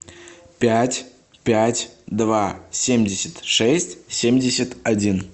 пять пять два семьдесят шесть семьдесят один